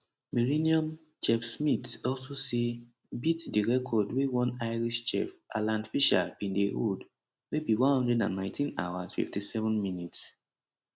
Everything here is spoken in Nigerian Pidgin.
millenium chef smith also say beat di record wey one irish chef alan fisher bin dey hold wey be 119 hours 57 minutes